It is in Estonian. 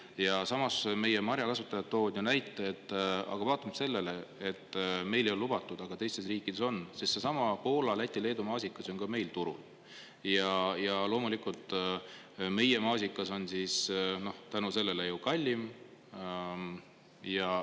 Ja samas meie marjakasutajad toovad näite, et aga vaatamata sellele, et meil ei ole lubatud, aga teistes riikides on, siis seesama Poola, Läti, Leedu maasikas ju on ka meil turul, ja loomulikult meie maasikas on tänu sellele ju kallim.